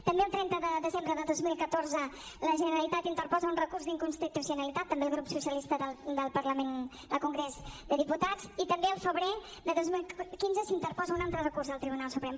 també el trenta de desembre de dos mil catorze la generalitat interposa un recurs d’inconstitucionalitat també el grup socialista del congrés dels diputats i també el febrer de dos mil quinze s’interposa un altre recurs al tribunal suprem